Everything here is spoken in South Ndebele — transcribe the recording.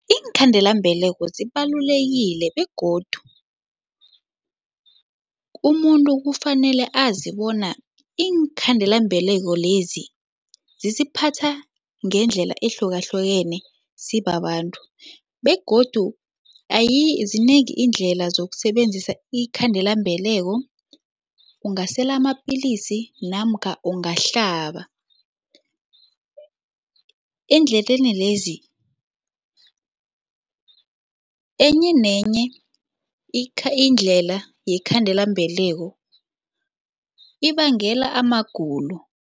Iinkhandelambeleko zibalulekile begodu umuntu kufanele azi bona iinkhandelambeleko lezi zisiphatha ngendlela ehlukahlukeneko sibabantu begodu zinengi iindlela zokusebenzisa iinkhandelambeleko ungasela amapilisi namkha ungahlaba. Endleleni lezi enye nenye indlela yekhandelambeleko ibangela amagulo.